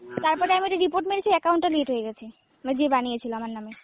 তারপরে আমিতো report মেরেছি ওই account টা delete হয়ে গেছে, মানে যে বানিয়েছিল আমার নামে।